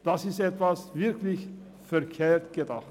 das ist etwas wirklich verkehrt herum gedacht!